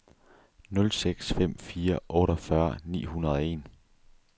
nul seks fem fire otteogfyrre ni hundrede og en